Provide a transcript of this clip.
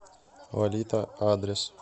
лолита адрес